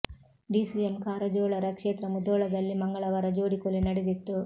DCM Karjol ರ ಕ್ಷೇತ್ರ ಮುಧೋಳದಲ್ಲಿ ಮಂಗಳವಾರ ಜೋಡಿ ಕೊಲೆ ನಡೆದಿತ್ತು